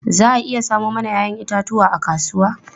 Za a iya samo mana 'ya'yan itatuwa a kasuwa?